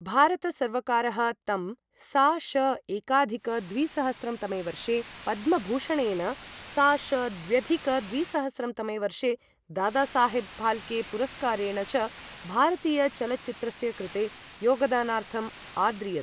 भारत सर्वकारः तं सा.श.एकाधिक द्विसहस्रं तमे वर्षे पद्मभूषणेन, सा.श.द्व्यधिक द्विसहस्रं तमे वर्षे दादासाहेब् फ़ाल्के पुरस्कारेण च भारतीय चलच्चित्रस्य कृते योगदानार्थम् आद्रियत।